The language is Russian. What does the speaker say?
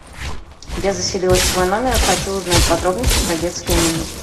я заселилась в свой номер хочу узнать подробности про детское меню